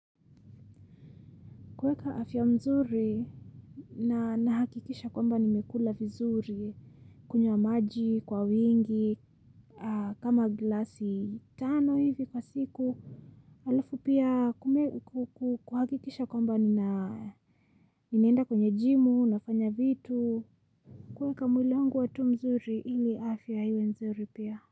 Kuweka afya mzuri na nakikisha kwamba nimekula vizuri kunywa maji kwa wingi kama glasi tano hivi kwa siku alafu pia kuhakikisha kwamba ninaenda kwenye jimu nafanya vitu kuweka mwili wangu uwe mzuri ili afya yangu iwe mzuri pia.